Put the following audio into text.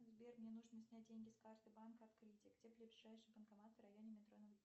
сбер мне нужно снять деньги с карты банка открытие где ближайший банкомат в районе метро